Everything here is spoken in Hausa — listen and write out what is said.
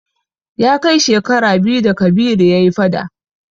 Ya kai shekara biyu da Kabiru ya yi fada.